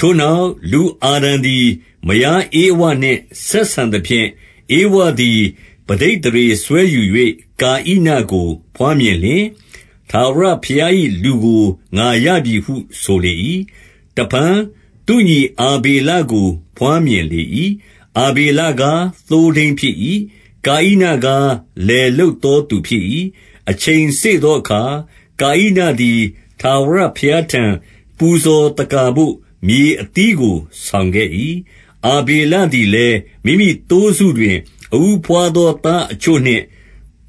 ထိုနောက်၊ လူအာဒံသည် မယားဧဝနှင့်ဆက်ဆံသဖြင့်၊ ဧဝသည် ပဋိသန္ဓေစွဲယူ၍၊ ကာဣနကို ဘွားမြင် လျှင်၊ ထာဝရဘုရား၏ လူကို ငါရပြီဟုဆိုလေ၏။ 2 တဖန်သူ့ညီ အာဗေလေကို ဘွားမြင်လေ၏။ အာဗေလကား သိုးထိန်းဖြစ်၏။ ကာဣနကားလယ်လုပ် သောသူဖြစ်၏။ 3 အချိန်စေ့သောအခါ၊ ကာဣနသည် ထာဝရဘုရားထံ ပူဇော်သက္ကာဘို့၊ မြေအသီးကို ဆောင်ခဲ့၏။ 4 အာဗေလသည်လည်း မိမိသိုးစုတွင် အဦးဘွားသော သားအချို့နှင့်၊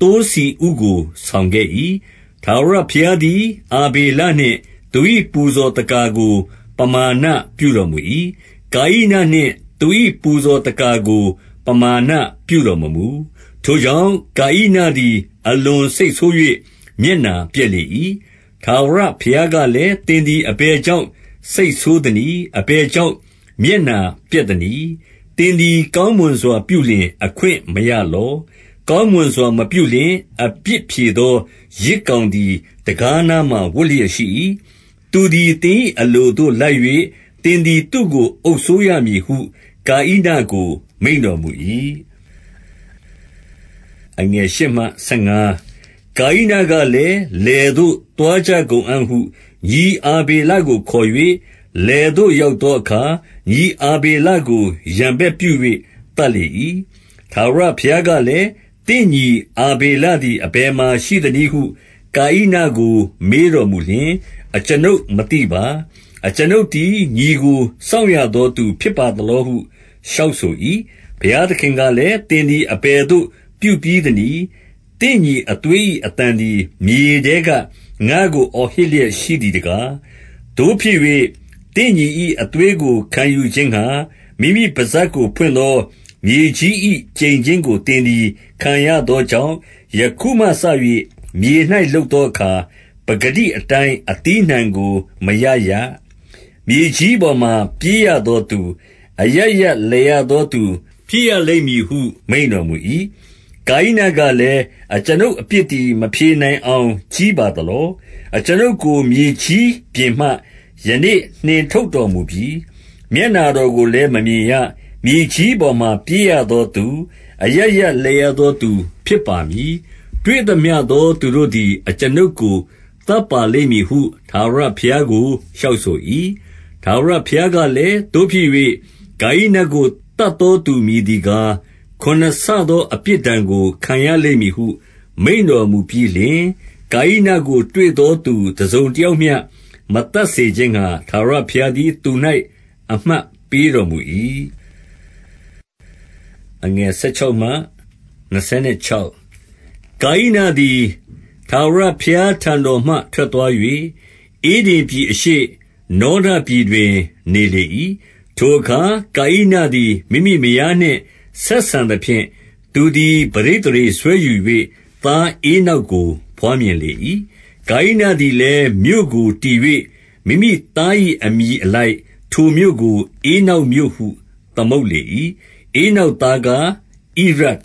သိုးဆီဥကိုဆောင်ခဲ့၏။ ထာဝရ ဘုရားသည် အာဗေလနှင့် သူ၏ပူဇော်သက္ကာကို ပမာဏ ပြုတော်မူ၏။ 5 ကာဣနနှင့်သူ၏ ပူဇော်သက္ကာကို ပမာဏ ပြုတော်မမူ၊ ထိုကြောင့် ကာဣနသည် အလွန်စိတ်ဆိုး၍ မျက်နှာပျက်လေ၏။ 6 ထာဝရဘုရားကလည်း သင်သည် အဘယ်ကြောင့် စိတ်ဆိုးသနည်း။ အဘယ်ကြောင့် မျက်နှာပျက် သနည်း။ 7 သင်သည် ကောင်းမွန်စွာ ပြုလုပ်အခွင့်မရလော။ ကောင်းမွန်စွာ မပြုလျှင်၊ အပြစ်ဖြေသော ယဇ် ကောင်သည်တံခါးနားမှာ ဝပ်လျက်ရှိ၏။ သူသည် သင်၏ အလိုသို့လိုက်၍၊ သင်သည် သူ့ကို အုပ်စိုးရ၏ဟု ကာဣနကိုမိန့်တော်မူ၏။ 8 ကာဣနကလည်း လယ်သို့ သွားကြကုန်အံ့ဟု ညီအာဗေလကိုခေါ်၍၊ လယ်သို့ရောက်သောအခါ၊ ညီ အာဗေလကိုရန်ဘက်ပြု၍ သတ်လေ၏။ 9 ထာဝရဘုရားကလည်း သင့်ညီ အာဗေလသည် အဘယ်မှာရှိသနည်းဟု ကာဣနကို မေးတော်မူလျှင် အကျွန်ုပ်မသိပါ။ အကျွန်ုပ်သည် ညီကို စောင့်ရသော သူဖြစ်ပါသလောဟု လျှောက်ဆို၏။ 10 ဘုရားသခင်ကလည်း၊ သင်သည် အဘယ်သို့ ပြုပြီးသနည်း။ သင်ညီအသွေး၏အသံသည် မြေထဲက ငါ့ကို အော်ဟစ်လျက်ရှိသည်တကား။ 11 သို့ဖြစ်၍သင့်ညီ၏ အသွေးကို ခံယူခြင်းငှါ၊ မိမိပစပ်ကိုဖွင့်သော မြေကြီး၏ ကျိန်ခြင်းကို သင်သည် ခံရသောကြောင့်၊ 12 ယခုမှစ၍ မြေ၌လုပ်သောအခါ ပကတိအတိုင်း အသီးအနှံကို မရရ။ မြေကြီးပေါ်မှ ပြေးရသောသူ၊ အရပ်ရပ်လည်ရသောသူ ဖြစ်ရလိမ့်မည်ဟု မိန့်တော်မူ၏။ 13 ကာဣနကလည်း အကျွန်ုပ်အပြစ်သည် မဖြေနိုင်အောင် ကြီးပါသလော။ 14 အကျွန်ုပ်ကို မြေကြီးပြင်မှ ယနေ့နှင်ထုတ်တော်မူပြီ၊ မျက်နှာတော်ကိုလည်း မမြင်ရ။ မြေကြီးပေါ်မှာ ပြေးရသောသူ၊ အရပ်ရပ်လည်ရသော သူဖြစ်ပါရမည်။ တွေ့သမျှသော သူတို့သည် အကျွန်ုပ်ကို သတ်ပါလိမ့်မည် ဟု ထာဝရဘုရားကို လျှောက်ဆို၏။ 15 ထာဝရဘုရားကလည်း သို့ဖြစ်၍ ကာဣနကို သတ်သောသူမည်သည်ကား၊ ခုနစ်ဆသောအပြစ်ဒဏ်ကို ခံရလိမ့်မည်ဟု မိန့်တော်မူပြီးလျှင်၊ ကာဣနကိုတွေ့သောသူ တစုံတယောက်မျှ မသတ်စေခြင်းငှါ၊ ထာဝရဘုရားသည် သူ၌ အမှတ်ပေးတော်မူ၏။ 16 ကာဣနသည် ထာဝရဘုရားထံတော်မှ ထွက်သွား၍၊ ဧဒင်ပြည် အရှေ့၊ နောဒပြည်တွင် နေလေ၏။ 17 ထိုအခါကာဣနသည် မိမိမယားနှင့် ဆက်ဆံသဖြင့်၊ သူသည် ပဋိသန္ဓေစွဲယူ၍၊ သားဧနောက်ကို ဘွားမြင်လေ၏။ ကာဣနသည်လည်း မြို့ကိုတည်၍မိမိသား၏ အမည်အလိုက်၊ ထိုမြို့ကို ဧနောက်မြို့ဟု သမုတ်လေ၏။ 18 ဧနောက်သားကား၊ ဣရဒ်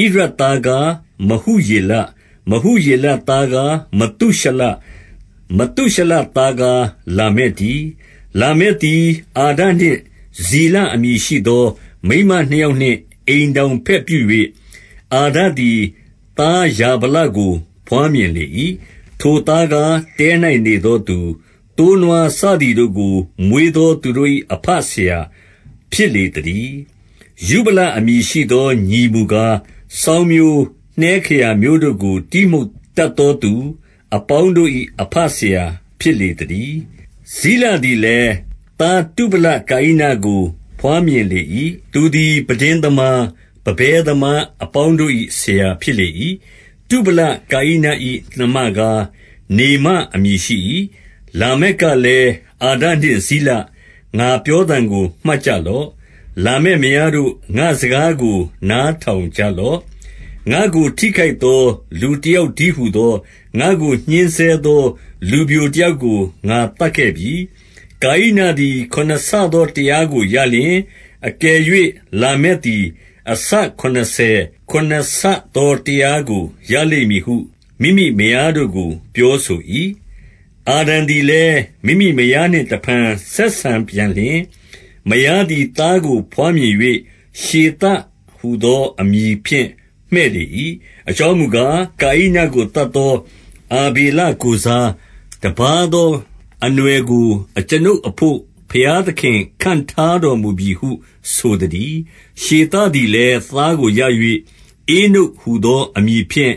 ၊ ဣရဒ်သားကား၊ မဟုယေလ၊ မဟုယေလသားကား၊ မသုရှလ၊ မသုရှလ သားကား၊ လာမက်တည်း။ 19 လာမက်သည်၊ အာဒနှင့်ဇိလ အမည်ရှိသော မိန်းမနှစ်ယောက်နှင့် အိမ်ထောင်ဘက်ပြု၍၊ 20 အာဒသည် သားယာဗလကိုဘွားမြင်လေ၏။ ထိုသားကား၊ တဲ၌နေသောသူ၊ သိုးနွားစသည်တို့ကို မွေးသော သူတို့၏ အဘဆရာ ဖြစ်လေသတည်း။ 21 ယုဗလအမည်ရှိသော ညီမူကား၊ စောင်းမျိုး၊ နှဲခရာမျိုးတို့ကို တီးမှုတ်တတ်သောသူ အပေါင်းတို့၏ အဘဆရာဖြစ်လေသတည်း။ 22 ဇိလသည်လည်း၊ သားတုဗလကာဣနကို ဘွားမြင်လေ၏။ သူသည် ပန်းတဉ်းသမား၊ ပန်းပဲသမား အ ပေါင်းတို့၏ဆရာဖြစ်လေ၏။ တုဗလကာဣန၏နှမကား၊ နေမအမည်ရှိ၏။ 23 လာမက်ကလည်း အာဒနှင့်ဇိလ၊ ငါပြောသံကို မှတ်ကြလော့။ လာမက်မားတို့၊ ငါ့စကားကို နားထောင်ကြလော့။ ငါ့ကိုထိခိုက်သော လူတယောက်တည်းဟူသော၊ ငါ့ကိုညှဉ်းဆဲသောလူပျိုတယောက်ကို ငါသတ်ခဲ့ပြီ။ 24 ကာဣနသည် ခုနစ်ဆသောတရားကိုရလျှင်၊ အကယ်၍လာမက်သည်၊ အဆခုနှစ်ဆယ် ခုနစ်ဆသော တရားကို ရလိမ့်မည်ဟု မိမိမယားတို့ကိုပြောဆို၏။ 25 အာဒံသည်လည်း မိမိမယားနှင့် တဖန်ဆက်ဆံပြန်လျှင်၊ မယားသည် သားကို ဘွားမြင်၍ ရှေသဟူသော အမည်ဖြင့် မှည့်လေ၏။ အကြောင်းမူကား၊ ကာဣနသတ်သော အာဗေလကိုယ်စား တပါးသောအနွယ်ကို အကျွန်ုပ် အဘို့ ဘုရားသခင်၌ ခန့်ထားတော်မူပြီဟု ဆိုသတည်း။ 26 ရှေသသည်လည်း သားကိုရ၍ ဧနုတ်ဟူသော အမည်ဖြင့်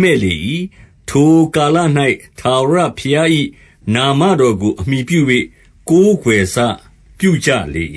မှည့်လေ၏။ ထိုကာလ၌ ထာဝရဘုရား၏ နာမတော်ကို အမှီပြု၍ ကိုးကွယ်စ ပြုကြလေ